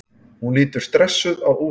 Hún lítur stressuð á úrið.